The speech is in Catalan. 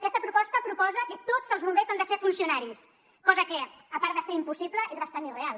aquesta proposta proposa que tots els bombers han de ser funcionaris cosa que a part de ser impossible és bastant irreal